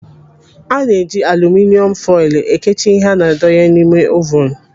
Ana-eji aluminịom foilu ekechi ihe ana-adonye n'ime ovunu.